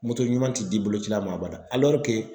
ɲuman ti di boloci ma a b'a da